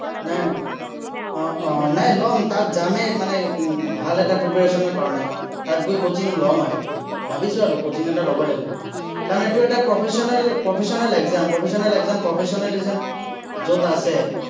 আহ আহ নাই ল'ম, তাত যামেই মানে উম ভাল এটা preparation ৰ কাৰণে। তাত গৈ coaching ল'ম আৰু। ভাৱিছো আৰু coaching এটা ল'বই লাগিব। কাৰণ এইটো এটা professional professional, exam professional exam professionalism য'ত আছে।